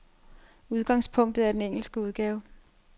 Udgangspunktet er den engelske udgave.